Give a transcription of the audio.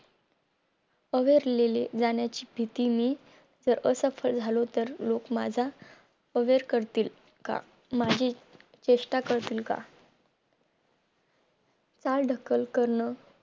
AWARE लेले जाण्याची भीती मी जर असफल झालो तर लोक माझा aware करतील का माझी चेष्ठा करतील का काल ढकल करणं